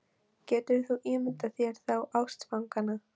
Getur þú ímyndað þér þá ástfangna?